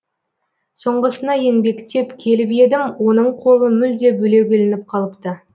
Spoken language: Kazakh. соңғысына еңбектеп келіп едім оның қолы мүлде бөлек ілініп қалыпты